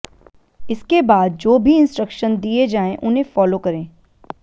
इसके बाद जो भी इंस्ट्रक्शन दिए जाएं उन्हें फॉलो करें